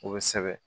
O bɛ sɛbɛn